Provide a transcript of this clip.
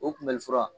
O kunbɛli fura